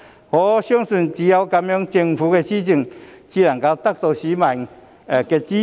我相信只有這樣，政府的施政才能夠得到市民的支持。